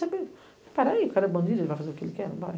Eu disse, peraí, o cara é bandido, ele vai fazer o que ele quer, vai.